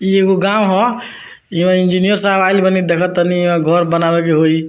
इ एगो गांव ह यहाँ इंजीनियर साहब आईल बानीदेखा तानी यह घर बनावे के होई।